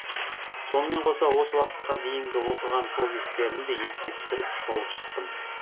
сонымен қоса осы уақытқа дейінгі оқыған повесттерімді еске түсіріп шолып шықтым